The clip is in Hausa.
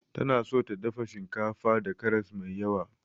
Tana so ta dafa shinkafa da karas mai yawa.